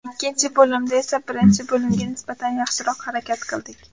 Ikkinchi bo‘limda esa birinchi bo‘limga nisbatan yaxshiroq harakat qildik.